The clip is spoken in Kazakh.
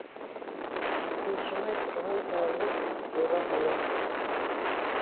тыншымай тұрған жалғыз бура ғана